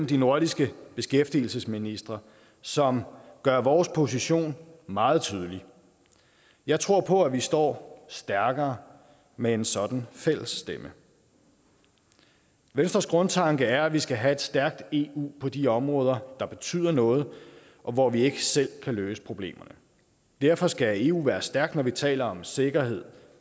de nordiske beskæftigelsesministre som gør vores position meget tydelig jeg tror på at vi står stærkere med en sådan fælles stemme venstres grundtanke er at vi skal have et stærkt eu på de områder der betyder noget og hvor vi ikke selv kan løse problemerne derfor skal eu være stærkt når vi taler om sikkerhed